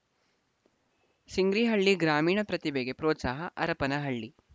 ಸಿಂಗ್ರಿಹಳ್ಳಿ ಗ್ರಾಮೀಣ ಪ್ರತಿಭೆಗೆ ಪ್ರೋತ್ಸಾಹ ಹರಪನಹಳ್ಳಿ